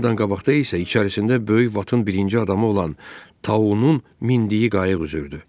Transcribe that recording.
Hamıdan qabaqda isə içərisində böyük vatın birinci adamı olan taunun mindiyi qayıq üzürdü.